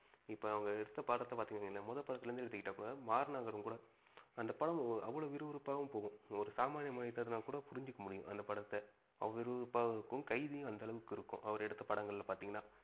இப்ப அவங்க எடுத்த படத்த பாத்து இருந்திங்கனா கூட முதல் படத்துலேந்து எடுத்துகிட்டா கூட, மாநகரம் கூட அந்த படம் அவ்ளோ விருவிருப்பா போகும். ஒரு சாமானிய மனிதனால் கூட புரிஞ்சிக்க முடியும் அந்த படத்த அவ்ளோ விறுவிறுப்பாகவும் இருக்கும். கைதியும் அந்த அளவுக்கு இருக்கும் அவரு எடுத்த படங்கள பாத்திங்கனா.